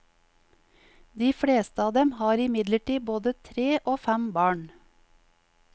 De fleste av dem har imidlertid både tre og fem barn.